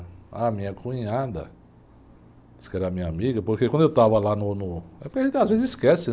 A minha cunhada, diz que era minha amiga, porque quando eu estava lá no, no... Às vezes esquece, né?